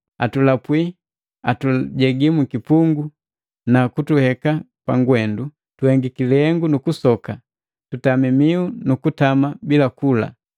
Atulapwi, atujegi mkipungu na kutuheka pagwendu, tuhengiki lihengu nukusoka, tutami mihu nu kutama bila kula.